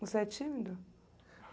Você é tímido?